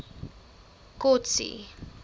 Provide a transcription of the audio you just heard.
kotsi